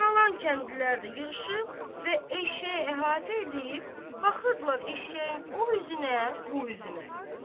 Qalan kəndlilər də yığışıb və eşşəyi əhatə eləyib, baxırdılar eşşəyin o üzünə, bu üzünə.